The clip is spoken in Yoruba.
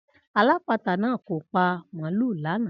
Alálata náà kò pa màlúù lanaa